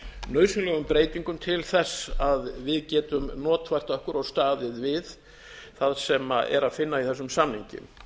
nauðsynlegum breytingum til þess að við getum notfært okkur og staðið við það sem er að finna í þessum samningi